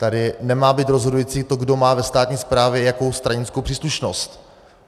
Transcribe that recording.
Tady nemá být rozhodující to, kdo má ve státní správě jakou stranickou příslušnost.